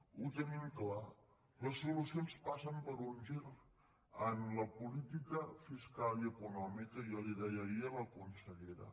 ho tenim clar les solucions passen per un gir en la política fiscal i econòmica jo li ho deia ahir a la consellera